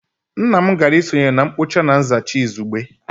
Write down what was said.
Nna m gara isonye na mkpocha na nzacha izugbe